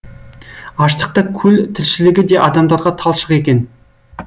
аштықта көл тіршілігі де адамдарға талшық екен